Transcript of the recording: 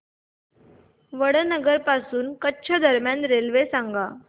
वडनगर पासून कच्छ दरम्यान रेल्वे सांगा